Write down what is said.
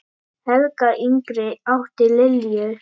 Helga yngri átti Lilju.